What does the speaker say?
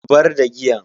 Zubar da giyan.